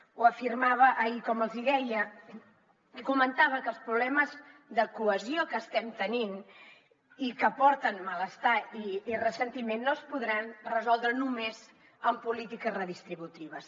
ho afirmava ahir com els hi deia i comentava que els problemes de cohesió que estem tenint i que porten malestar i ressentiment no es podran resoldre només amb polítiques redistributives